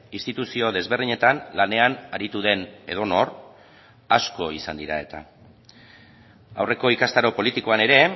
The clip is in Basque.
instituzio desberdinetan lanean aritu den edonor asko izan dira eta aurreko ikastaro politikoan ere